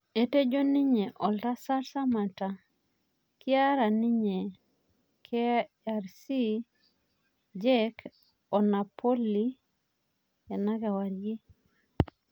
Etejo ninye Oltasat Samatta kiara ninye KRC Genk o Napoli enakewarie